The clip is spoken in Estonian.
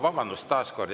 Vabandust!